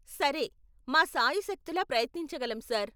సరే, మా శాయశక్తులా ప్రయత్నించగలం సార్.